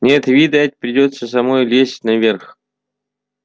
нет видать придётся самой лезть наверх